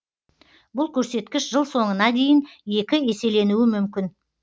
бұл көрсеткіш жыл соңына дейін екі еселенуі мүмкін